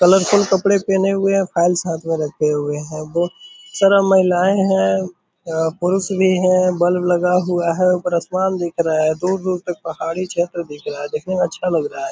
Colourful कपड़े पहने हुए है फाइल साथ में रखे हुए हैं बहुत सारा महिलाएं हैं अ पुरुष भी है बल्ब लगा हुआ है ऊपर आसमान दिख रहा है दूर-दूर तक पहाड़ी क्षेत्र दिख रहा है देखने में अच्छा लग रहा है।